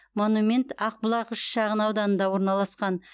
монумент ақбұлақ үш шағын ауданында орналасқан